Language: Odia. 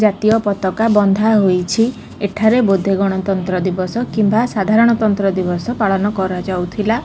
ଜାତୀୟ ପତାକା ବନ୍ଧା ହୋଇଛି ଏଠାରେ ବୋଧେ ଗଣତନ୍ତ୍ର ଦିବସ କିମ୍ବା ସାଧାରଣତନ୍ତ୍ର ଦିବସ ପାଳନ କରାଯାଉଥିଲା ।